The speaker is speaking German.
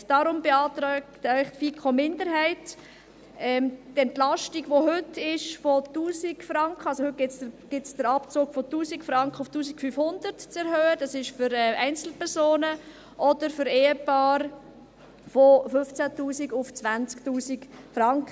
Deshalb beantrag Ihnen die FiKo-Minderheit, die Entlastung – heute gibt es einen Abzug von 1000 Franken – von 1000 Franken auf 1500 Franken zu erhöhen – das gilt für Einzelpersonen –, oder für Ehepaare von 15 000 Franken auf 20 000 Franken.